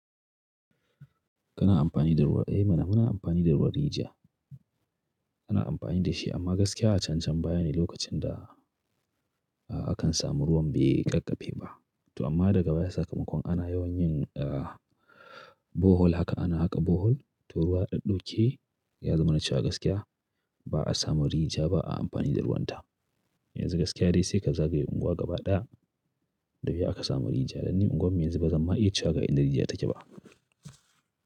Kana amfani da ruwan rijiya? Ehmana ina amfani da ruwan rijiya. Ina amfani da shi amma gaskiya a can-can baya ne lokacin da akan samu ruwan bai ƙaƙƙaɓe ba. To amma daga baya sakamakon ana yawan yin, a, Bohel haka ana haka Bohel, to ruwa ɗaɗɗauke ya zama na cewa gaskiya Ba'a samun rijiya ba'a amfani da ruwan ta. Yanzu gaskiya dai sai ka zagaye unguwa gaba ɗaya da wuya ka samu rijiya, danni unguwar mu yanzu bazan ma iya cewa ga in da rijiya take ba.